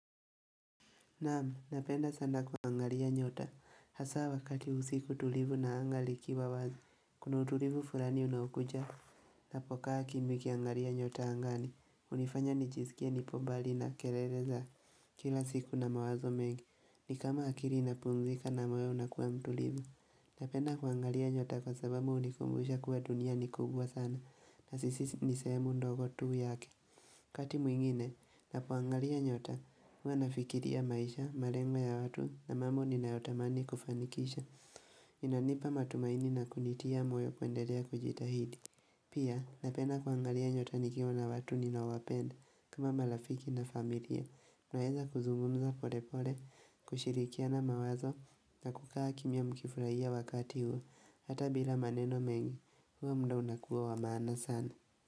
Naamu! Napenda sana kuangalia nyota. Hasa wakati usiku tulivu na angaa likiwa wazi, kuna utulivu fulani unaokuja. Napokaa kimya nikiangalia nyota angani. Hunifanya nijisikie nipo mbali na kelele za kila siku na mawazo mengi. Ni kama akili inapumzika na moyo unakuwa mtulivu. Napenda kuangalia nyota kwa sabamu hunikumbusha kuwa dunia ni kubwa sana na sisi ni sehemu ndogo tu yake. Wakati mwingine, ninapoangalia nyota, huwa nafikiria maisha, malengo ya watu na mambo ninayotamani kufanikisha. Inanipa matumaini na kunitia moyo kuendelea kujitahidi. Pia, napenda kuangalia nyota nikiwa na watu ninawapenda kama malafiki na familia. Naeza kuzungumza polepole, kushirikiana mawazo na kukaa kimya nikifurahia wakati huo. Hata bila maneno mengi, hua muda unakuwa wa maana sana.